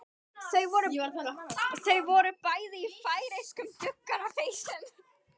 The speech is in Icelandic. Þau voru bæði í færeyskum duggarapeysum.